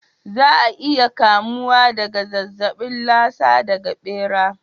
Za a iya kamuwa daga zazzabin Lasa daga ɓera.